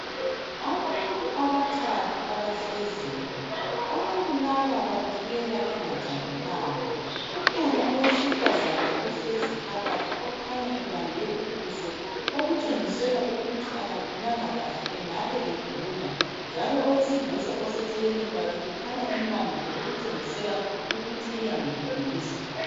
Abantu abathathu abahleziyo abantu laba babukeka bengajabulanga kukhona owesifazana ohlezi phakathi okhanya ebambe ubuso okutshenisela ukuthi akaphilanga kuhle engabe egula njalo owesilisa oseceleni kwakhe kukhanya embambile okutshengisela ukuba uyamduduza